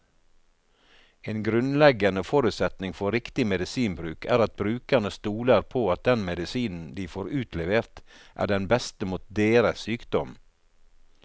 En grunnleggende forutsetning for riktig medisinbruk er at brukerne stoler på at den medisinen de får utlevert, er den beste mot deres sykdom.